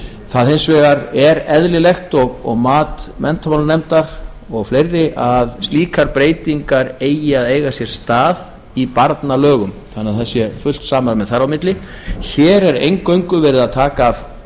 það er hins vegar eðlilegt og mat menntamálanefndar og fleiri að slíkar breytingar eigi að eiga sér stað í barnalögum þannig a það sé fullt samræmi þar á milli hér er eingöngu verið að taka af